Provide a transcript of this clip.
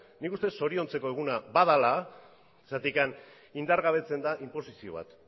nik uste dut zoriontzeko eguna badela indargabetzen delako inposizio bat